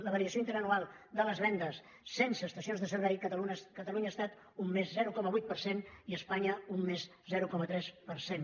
la variació interanual de les vendes sense estacions de servei a catalunya ha estat un més zero coma vuit per cent i a espanya un més zero coma tres per cent